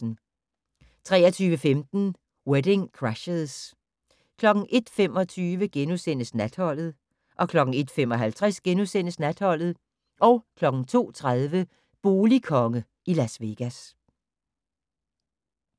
23:15: Wedding Crashers 01:25: Natholdet * 01:55: Natholdet * 02:30: Boligkonge i Las Vegas